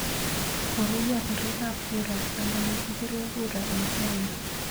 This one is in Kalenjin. Koruiyo birik ab kura eng ole kibire kura ing Kenya